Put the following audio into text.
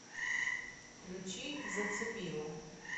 включи зацепила